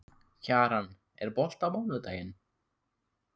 Kjaran, er bolti á mánudaginn?